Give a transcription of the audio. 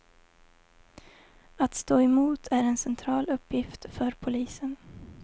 Att stå emot är en central uppgift för polisen.